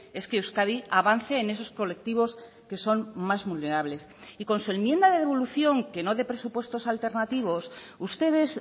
es que euskadi avance en esos colectivos que son más vulnerables y con su enmienda de devolución que no de presupuestos alternativos ustedes